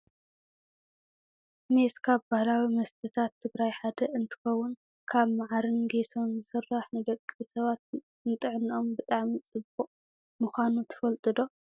ሜስ ካብ ባህላዊ መስተታት ትግራይ ሓደ እንትከውን ካብ ማዓርን ጌሶን ዝስራሕ ንደቂ ሰባት ንጥዕኖኦም ብጣዕሚ ፅቡቅ ምኳኑ ትፈልጡ ዶ ?